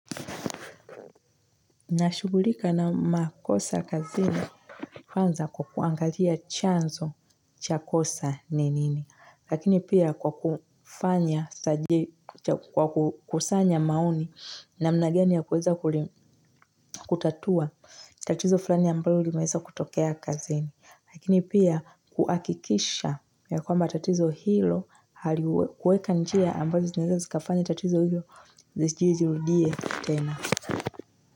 Nashugulika na makosa kazini kwanza kwa kuangalia chanzo cha kosa ni nini lakini pia kwa kufanya kwa kusanya maoni namna gani ya kuweza kutatua tatizo fulani ambalo limeweza kutokea kazini lakini pia kuhakikisha ya kwamba tatizo hilo halikuweka njia ambazo zinaeza zikafanya tatizo hilo lisijirudie tena.